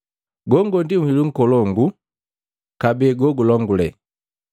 Gongo ndi nhilu nkolongu kabee ndi jejilongule.